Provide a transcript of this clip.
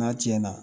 N'a cɛn na